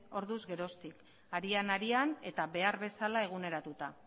harez geroztik arian arian eta behar bezala eguneratuta